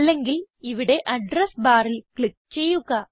അല്ലെങ്കിൽ ഇവിടെ അഡ്രസ് ബാറിൽ ക്ലിക്ക് ചെയ്യുക